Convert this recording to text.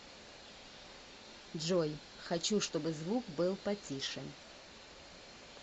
джой хочу чтобы звук был потише